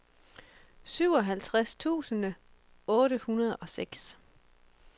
syvoghalvtreds tusind otte hundrede og seks